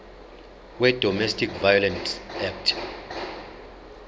wedomestic violence act